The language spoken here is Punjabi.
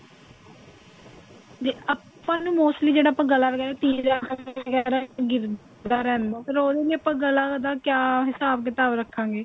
ਜੇ ਆਪਾਂ ਨੂੰ mostly ਜਿਹੜਾ ਆਪਣਾ ਗਲਾ ਵਗੇਰਾ ਗਿਰਦਾ ਰਹਿੰਦਾ ਉਹਦੇ ਲਈ ਆਪਾਂ ਗਲੇ ਦਾ ਕੀ ਹਿਸਾਬ ਕਿਤਾਬ ਰੱਖਾਂਗੇ